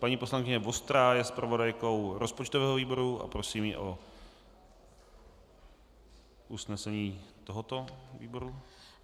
Paní poslankyně Vostrá je zpravodajkou rozpočtového výboru a prosím ji o usnesení tohoto výboru.